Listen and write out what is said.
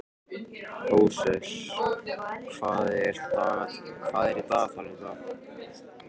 Hóseas, hvað er í dagatalinu í dag?